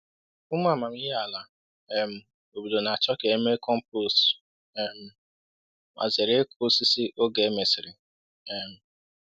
Ụmụ amamihe ala um obodo na-achọ ka e mee compost um ma zere ịkụ osisi oge e mesịrị. um